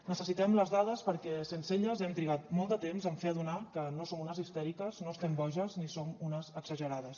necessitem les dades perquè sense elles hem trigat molt de temps a fer adonar que no som unes histèriques no estem boges ni som unes exagerades